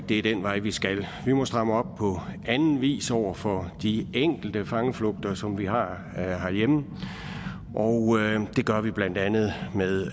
det er den vej vi skal vi må stramme op på anden vis over for de enkelte fangeflugter som vi har herhjemme og det gør vi blandt andet med